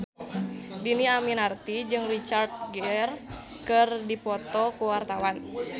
Dhini Aminarti jeung Richard Gere keur dipoto ku wartawan